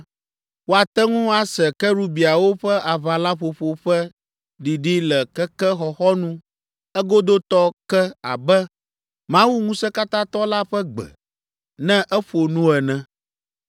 Woate ŋu ase kerubiawo ƒe aʋalaƒoƒo ƒe ɖiɖi le keke xɔxɔnu egodotɔ ke abe Mawu Ŋusẽkatãtɔ la ƒe gbe, ne eƒo nu ene.